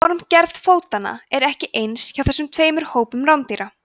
formgerð fótanna er ekki eins hjá þessum tveimur hópum rándýra